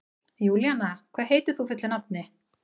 Júlíanna, hvað heitir þú fullu nafni?